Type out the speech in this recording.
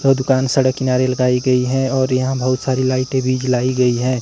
वो दुकान सड़क किनारे लगाई गई है और यहां बहुत सारी लाइटें भी जलाई गई है।